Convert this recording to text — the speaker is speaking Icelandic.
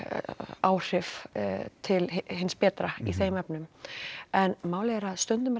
áhrif til hins betra í þeim efnum en málið er að stundum er